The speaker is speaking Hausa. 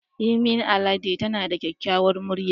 Yemi Alade tana da kyakkyawar murya.